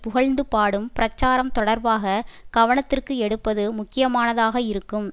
புகழ்ந்துபாடும் பிரச்சாரம் தொடர்பாக கவனத்திற்கு எடுப்பது முக்கியமானதாக இருக்கும்